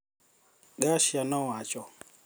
Garcia nowacho